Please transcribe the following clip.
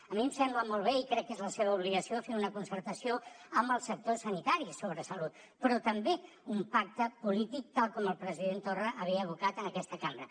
a mi em sembla molt bé i crec que és la seva obligació fer una concertació amb el sector sanitari sobre salut però també un pacte polític tal com el president torra hi havia advocat en aquesta cambra